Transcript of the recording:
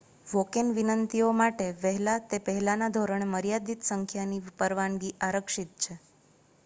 walk-in વિનંતીઓ માટે વહેલા તે પહેલાના ધોરણે મર્યાદિત સંખ્યાની પરવાનગી આરક્ષિત છે